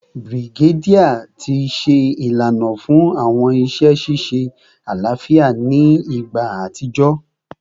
Brigadier ti ṣe ilana fun awọn iṣẹ ṣiṣe alafia ni igba atijọ